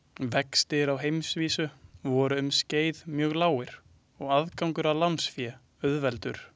Vextir á heimsvísu voru um skeið mjög lágir og aðgangur að lánsfé auðveldur.